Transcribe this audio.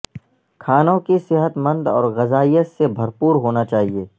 کھانوں کی صحت مند اور غذائیت سے بھرپور ہونا چاہئے